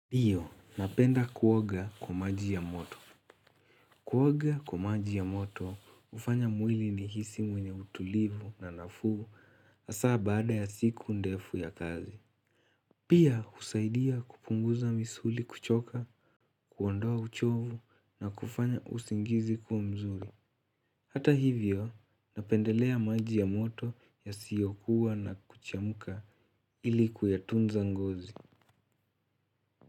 Dio, napenda kuoga kwa maji ya moto. Kuoga kwa maji ya moto, ufanya mwili unihisi mwenye utulivu na nafuu asa baada ya siku ndefu ya kazi. Pia, usaidia kupunguza misuli kuchoka, kuondoa uchovu na kufanya usingizi kuwa mzuri. Hata hivyo, napendelea maji ya moto yasiyokuwa na kuchemuka ili ku atunza ngozi.